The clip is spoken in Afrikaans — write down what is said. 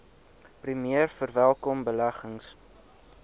premier verwelkom beleggings